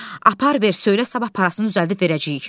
Apar ver, söylə sabah parasını düzəldib verəcəyik.